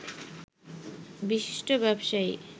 বিশিষ্ট ব্যবসায়ী